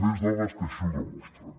més dades que així ho demostren